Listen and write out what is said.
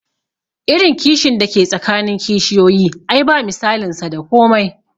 Irin kishin da ke tsakanin kishiyoyi ai ba misalin sa da komai